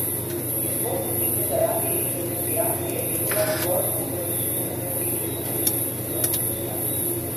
Izvozniki so zaradi depreciacije evra bolj konkurenčni na trgih zunaj evrskega območja.